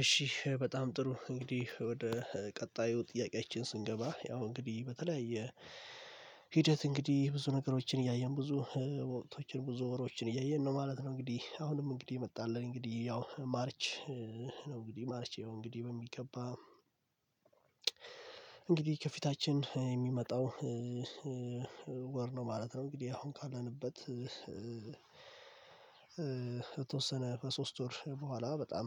እሺ በጣም ጥሩ እንግዲህ ወደ ቀጣዩ ጥያቄያችን ስንገባ ያው እንግዲህ በተለያየ ሂደት እንግዲህ ብዙ ነገሮችን እያየን ብዙ ወቅቶችን ብዙ ወሮችን እያየን ነው ማለት ነው። እንግዲህ አሁንም እንግዲህ የመጣ አለ እንግዲህ ያው ማርች ነው እንግዲህ ማርቼ እንግዲህ በሚገባ እንግዲህ ከፊታችን የሚመጣው ወር ነው ማለት ነው እንግዲህ አሁን ካለንበት ከተወሰነ በሶስት ወር በኋላ በጣም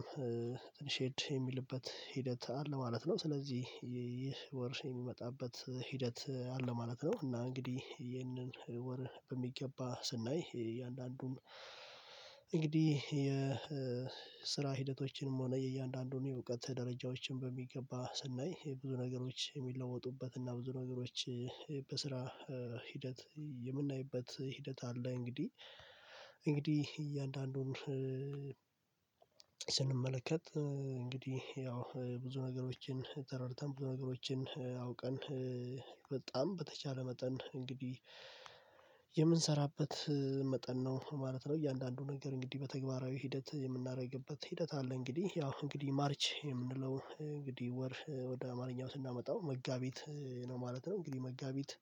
ትንሽ ሄድ የሚልበት ሂደት አለ ማለት ነው። ስለዚህ ይህ ወር የሚመጣበት ሂደት አለ ማለት ነው። እና እንግዲህ ይህንን ወር በሚገባ ስናይ እያንዳንዱን እንግዲህ የስራ ሂደቶችንም ሆነ የእያንዳንዱን የእውቀት ደረጃዎችን በሚገባ ስናይ ብዙ ነገሮች የሚለወጡበት እና ብዙ ነገሮች በስራ ሂደት የምናይበት ሂደት አለ እንግዲህ። እንግዲህ እያንዳንዱን ስንመለከት እንግዲህ ያው ብዙ ነገሮችን ተረድተን ብዙ ነገሮችን አውቀን በጣም በተቻለ መጠን እንግዲህ የምንሰራበት መጠን ነው ማለት ነው። እያንዳንዱ ነገር እንግዲህ በተግባራዊ ሂደት የምናደርግበት ሂደት አለ። እንግዲህ ያው እንግዲህ ማርች የምንለው እንግዲህ ወር ወደ አማርኛው ስናመጣው መጋቢት ነው ማለት ነው። እንግዲህ መጋቢት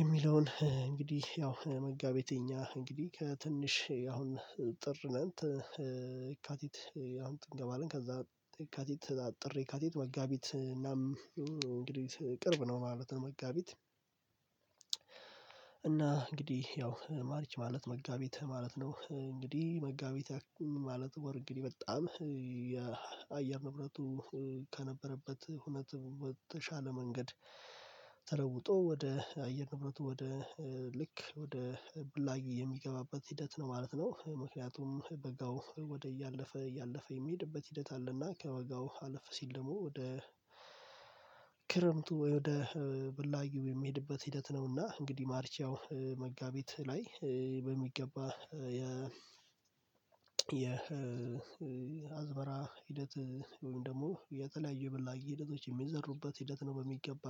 የሚለውን እንግዲህ ያው መጋቢት የኛ እንግዲህ ከትንሽ አሁን ጥር ነን የካቲት አሁን እንገባለን ከዛ የካቲት ያው ጥር የካቲት መጋቢት እናም እንግዲህ ቅርብ ነው ማለት ነው። መጋቢት እና እንግዲህ ያው ማርች ማለት መጋቢት ማለት ነው እንግዲህ መጋቢት ማለት ወር እንግዲህ በጣም የአየር ንብረቱ ከነበረበት ሁነት የተሻለ መንገድ ተለውጦ ወደ አየር ንብረቱ ወደ ልክ ወደ ብላጊ የሚገባበት ሂደት ነው ማለት ነው። ምክንያቱም በጋው ወደ እያለፈ እያለፈ የሚሄድበት ሂደት አለና ከበጋው አለፍ ሲል ደግሞ ወደ ክረምቱ ወይ ወደ ብላጊው የሚሄድበት ሂደት ነውና እንግዲህ ማርች ያው መጋቢት ላይ በሚገባ የ የአዝመራ ሂደት ወይም ደግሞ የተለያዩ የበላጊ ሂደቶች የሚዘሩበት ሂደት ነው በሚገባ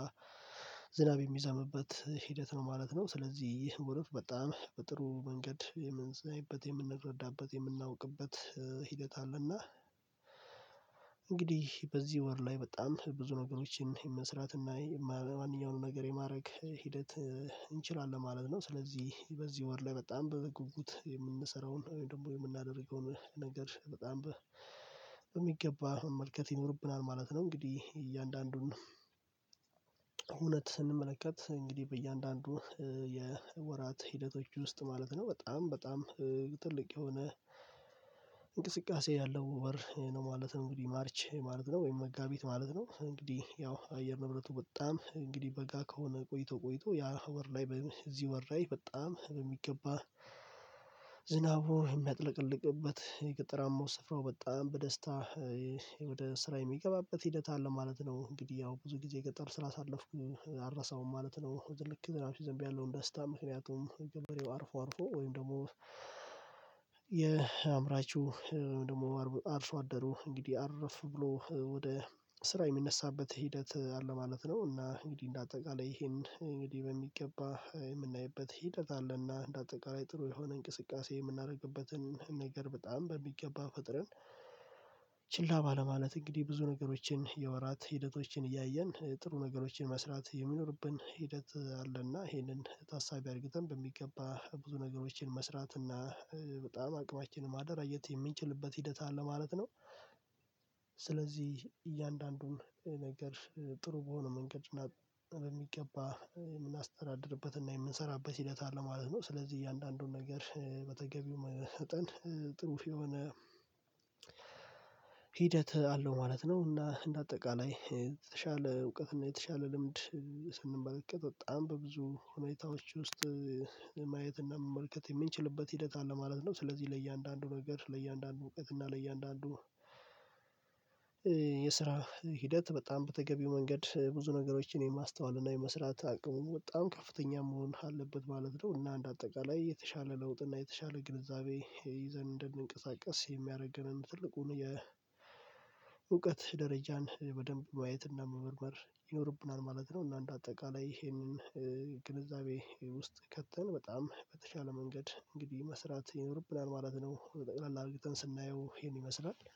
ዝናብ የሚዘምብበት ሂደት ነው ማለት ነው። ስለዚህ ይህ ሙሉፍ በጣም በጥሩ መንገድ የምንሰማበት የምንረዳበት የምናውቅበት ሂደት አለና እንግዲህ በዚህ ወር ላይ በጣም ብዙ ነገሮችን መስራትና ማንኛውንም ነገር የማድረግ ሂደት እንችላለን ማለት ነው። ስለዚህ በዚህ ወር ላይ በጣም በጉጉት የምንሰራውን ደግሞ የምናደርገውን ነገር በጣም በሚገባ መመልከት ይኖርብናል ማለት ነው። እንግዲህ እያንዳንዱን እውነት ስንመለከት እንግዲህ በእያንዳንዱ የወራት ሂደቶች ውስጥ ማለት ነው በጣም በጣም ትልቅ የሆነ እንቅስቃሴ ያለው ወር ነው ማለት ነው። እንግዲህ ማርች ማለት ነው ወይም መጋቢት ማለት ነው እንግዲህ ያው የአየር ንብረቱ በጣም እንግዲህ በጋ ከሆነ ቆይቶ ቆይቶ ያ ወር ላይ በዚህ ወር ላይ በጣም በሚገባ ዝናቡን የሚያጥለቀልቅበት የገጠራማው ስፍራው በጣም በደስታ ወደ ስራ የሚገባበት ሂደት አለ ማለት ነው። እንግዲህ ያው ብዙ ጊዜ ገጠር ስላሳለፍኩ አልረሳሁም ማለት ነው። ሲዘንብ ያለውን ደስታ ምክንያቱም ገበሬው አርፎ አርፎ ወይም ደግሞ የአምራቹ ወይም ደግሞ አርሶ አደሩ እንግዲህ አርፍ ብሎ ወደ ስራ የሚነሳበት ሂደት አለ ማለት ነው። እና እንግዲህ እንደ አጠቃላይ ይሄን እንግዲህ በሚገባ የምናይበት ሂደት አለና እንደ አጠቃላይ ጥሩ የሆነ እንቅስቃሴ የምናደርግበትን ነገር በጣም በሚገባ ፈጥረን ችላ ባለማለት እንግዲህ ብዙ ነገሮችን የወራት ሂደቶችን እያየን ጥሩ ነገሮችን መስራት የሚኖርብን ሂደት አለና ይሄንን ታሳቢ አርግተን በሚገባ ብዙ ነገሮችን መስራት እና በጣም አቅማችንን ማደራጀት የምንችልበት ሂደት አለ ማለት ነው። ስለዚህ እያንዳንዱን ነገር ጥሩ በሆነ መንገድ እና በሚገባ የምናስተዳድርበት እና የምንሰራበት ሂደት አለ ማለት ነው። ስለዚህ እያንዳንዱን ነገር በተገቢው መጠን ጥሩ የሆነ ሂደት አለው ማለት ነው። እና እንደ አጠቃላይ የተሻለ እውቀት እና የተሻለ ልምድ ስንመለከት በጣም በብብዙ ሁኔታዎች ውስጥ ማየት እና መመልከት የምንችልበት ሂደት አለ ማለት ነው። ስለዚህ ለእያንዳንዱ ነገር ለእያንዳንዱ እውቀትና ለእያንዳንዱ የስራ ሂደት በጣም በተገቢው መንገድ ብዙ ነገሮችን የማስተዋል እና የመስራት አቅሙን በጣም ከፍተኛ መሆን አለበት ማለት ነው። እና እንደ አጠቃላይ የተሻለ ለውጥ እና የተሻለ ግንዛቤ ይዘን እንድንንቀሳቀስ የሚያደርገንም ትልቁን የእውቀት ደረጃን በደንብ ማየትና መመርመር ይኖርብናል ማለት ነው። እና እንደ አጠቃላይ ይሄንን ግንዛቤ ውስጥ ከተን በጣም በተቻለ መንገድ እንግዲህ መስራት ይኖርብናል ማለት ነው። በጠቅላላ አርገተን ስናየው ይሄን ይመስላል